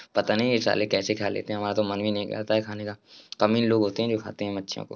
पता नहीं ये साले कैसे खा लेते है? हमारा तो मन भी नहीं करता है खाने का कम ही लोग होते हैं जो खाते है मच्छियों को।